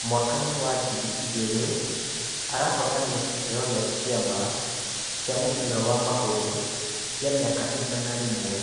Mwakainĩ wa ngiri ĩgĩrĩ, arahotanire kĩheo kĩa kĩama kĩa mũbira wa magũru kĩa mĩaka igana rĩmwe.